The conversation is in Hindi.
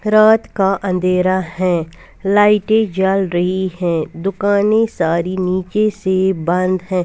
रात का अँधेरा है लाइटे झल रही है दुकाने सारी नीचे से बंद है।